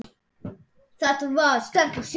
Þetta var sterkur sigur.